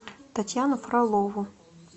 татьяну фролову